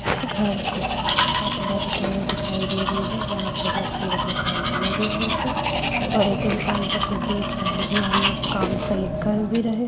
घर की छत बनते हुए दिखाई दे रही है जहां पर मजदूर अपने काम में लगे हुए हैं और एक इंसान सब कुछ देख रहा है की यहां लोग काम सही कर भी रहे--